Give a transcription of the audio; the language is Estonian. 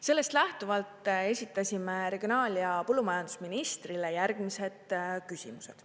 Sellest lähtuvalt esitasime regionaal- ja põllumajandusministrile järgmised küsimused.